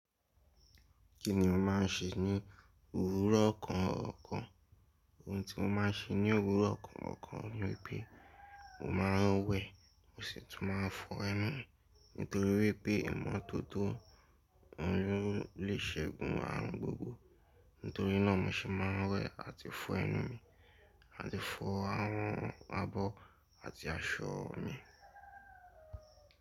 Kí ni o máà ń ṣe ní òwúrọ̀ ọ̀kan ọ̀kan? Ohun tí mo máa ń ṣe ní òwúrọ̀ ọ̀kan ọ̀kan ni pé mo máa ń wẹ̀, mo sì tún máa fọ ẹnu. Nítorí wípé ìmọ́tótó oun lo lè ṣegún aarun gbogbo. Nítorí náà ni mo se máa ń wẹ̀ àti fọ ẹnu mi, àti fọ àwọn abọ́ àti aṣọ mi.